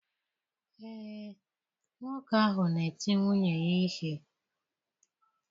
Ee, nwoke ahụ na-eti nwunye ya ihe.